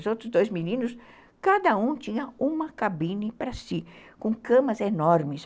Os outros dois meninos, cada um tinha uma cabine para si, com camas enormes.